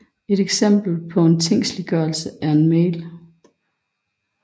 Et eksempel på en tingsliggørelse er en mail